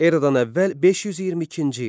Eradan əvvəl 522-ci il.